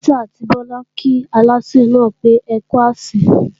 Títí àti Bọlá kí Aláṣẹ náà pé ókú àsè